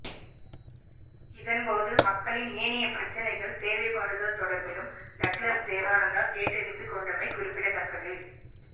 இதன்போது மக்களின் ஏனைய பிரச்சினைகள் தேவைப்பாடுகள் தொடர்பிலும் டக்ளஸ் தேவானந்தா கேட்டறிந்து கொண்டமை குறிப்பிடத்தக்கது